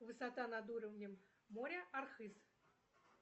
высота над уровнем моря архыз